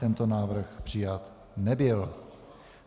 Tento návrh přijat nebyl.